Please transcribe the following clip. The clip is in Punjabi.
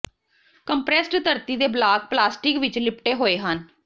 ਕੰਪਰੈੱਸਡ ਧਰਤੀ ਦੇ ਬਲਾਕ ਪਲਾਸਟਿਕ ਵਿੱਚ ਲਿਪਟੇ ਹੋਏ ਹਨ